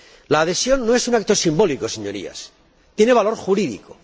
La adhesión no es un acto simbólico, Señorías tiene valor jurídico.